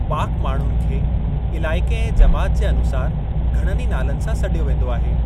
पाक माण्हुनि खे इलाइक़े ऐं जमात जे अनुसारि घणनि ई नालनि सां सॾियो वेंदो आहे।